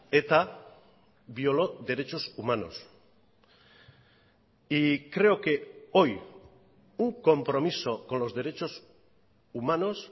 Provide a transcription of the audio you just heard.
eta violó derechos humanos y creo que hoy un compromiso con los derechos humanos